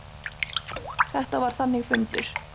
Þetta var þannig fundur.